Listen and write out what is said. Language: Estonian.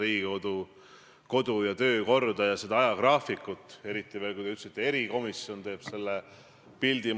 Ja kui te olete öelnud, et sõnal on kaal, siis seda enam peaks kaal olema tänase peaministri neil sõnadel, mis ta rääkis enne valimisi.